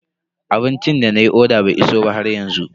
Abincin da nayi oda bai iso ba haryanzu.